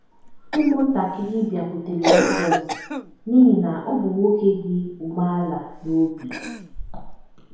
Ụmụntakịrị bịakwutere Jizọs n’ihi na ọ bụ nwoke dị umeala n’obi